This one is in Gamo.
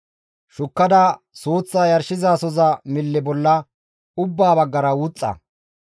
Shukkada suuththaa yarshizasoza mille bolla ubba baggara wuxxa.